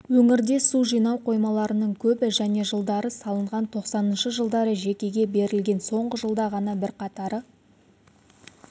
өңірде су жинау қоймаларының көбі және жылдары салынған тоқсаныншы жылдары жекеге берілген соңғы жылда ғана бірқатары